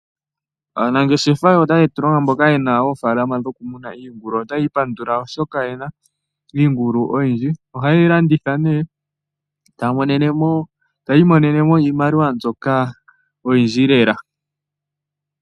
Aanangefesha otaye tulongo mboka ye na oofalama dhoku muna iingulu otaya ipandula oshoka oyena iingulu oyindji, oha yeyi landitha ne etaya imonene mo iimaliwa mbyoka oyindji lela.